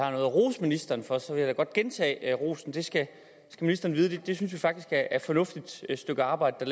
rose ministeren for så vil jeg da godt gentage rosen det skal ministeren vide vi synes faktisk det er et fornuftigt stykke arbejde der